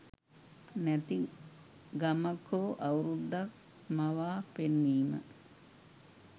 නැති ගමක් හෝ අවුරුද්දක් මවා පෙන්වීම